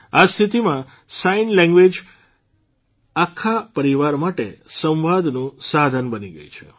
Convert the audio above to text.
આ સ્થિતિમાં sign language જ આખા પરિવાર માટે સંવાદનું સાધન બની ગઇ છે